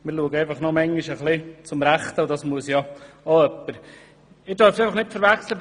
Manchmal schauen wir noch zum Rechten, und das muss schliesslich auch jemand tun.